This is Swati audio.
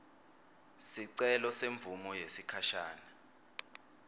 sicelo semvumo yesikhashane